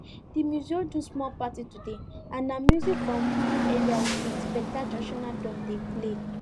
di museum do small party today and na music from we area with beta traditional drum dem play